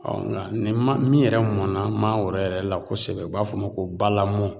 Ɔ nga nin man min yɛrɛ mɔna mangoro yɛrɛ la kosɛbɛ o b'a f'o ma ko balamɔ